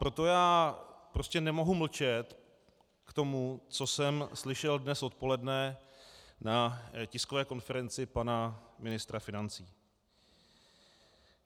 Proto já prostě nemohu mlčet k tomu, co jsem slyšel dnes odpoledne na tiskové konferenci pana ministra financí.